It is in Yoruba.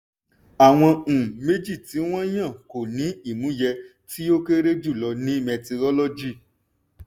àwọn um méjì tí wọ́n yàn kò ní ìmúyẹ tí ó kéré jùlọ ní mẹtirolọ́gì.